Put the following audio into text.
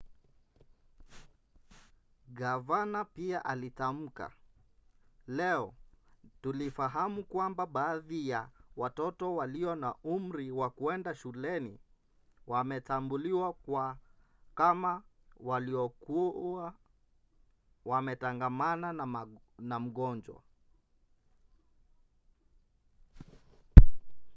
gavana pia alitamka leo tulifahamu kwamba baadhi ya watoto walio na umri wa kwenda shuleni wametambuliwa kama waliokuwa wametangamana na mgonjwa.